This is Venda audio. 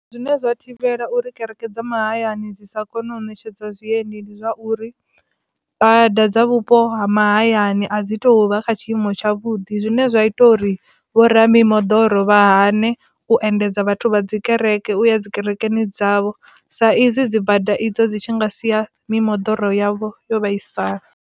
Zwine zwa thivhela uri kereke dza mahayani dzi sa kone u ṋetshedza zwiendi ndi zwa uri bada dza vhupo ha mahayani a dzi to vha kha tshiimo tsha vhuḓi zwine zwa ita vho ra mimoḓoro vha hane u endedza vhathu vha dzi kereke uya dzi kerekeni dzavho sa izwi dzi bada idzo dzi tshi nga sia mimoḓoro yavho yo vhaisala.